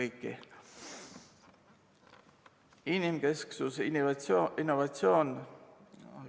Inimkesksus ja innovatsioon.